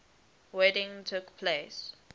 wedding took place